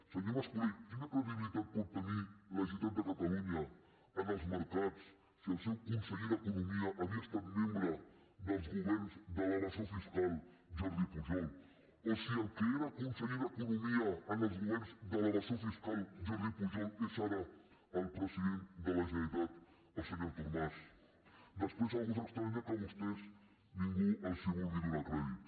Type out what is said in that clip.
senyor mascolell quina credibilitat pot tenir la generalitat de catalunya en els mercats si el seu conseller d’economia havia estat membre dels governs de l’evasor fiscal jordi pujol o si el que era conseller d’economia en els governs de l’evasor fiscal jordi pujol és ara el president de la generalitat el senyor artur mas després algú s’estranya que a vostès ningú els vulgui donar crèdit